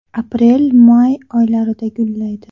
Aprelmay oylarida gullaydi.